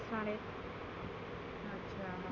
अच्छा हं.